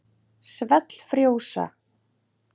Svell frjósa.